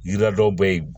Yiri dɔw be ye